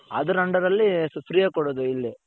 ಅದರ under ಅಲ್ಲಿ freeಯಾಗಿ ಕೊಡದು ಇಲ್ಲಿ.